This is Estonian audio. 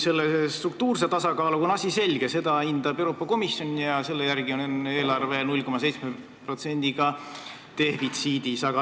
Struktuurse tasakaaluga on asi selge: seda hindab Euroopa Komisjon ja selle järgi on eelarve 0,7%-ga defitsiidis.